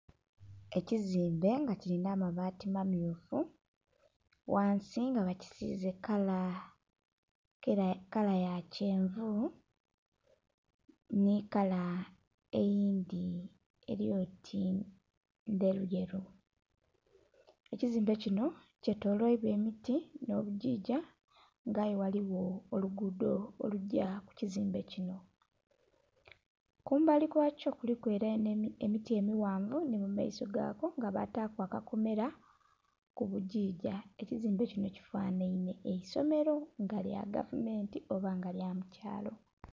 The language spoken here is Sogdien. Ekizimbe nga kilina amabaati mamyufu, ghansi nga bakisiize kala, kala ya kyenvu, nhi kala eyindhi eli oti ndheruyeru. Ekizimbe kino kyetoloilwa emiti nh'obugigya nga aye ghaligho olugudho olugya ku kizimbe kino. Kumbali kwakyo kuliku ela nh'emiti emighanvu nhi mu maiso ghako nga bataaku akakomela ku bugigya. Ekizimbe kino kifanhainhe eisomelo nga lya gavumenti oba nga lya mukyaalo.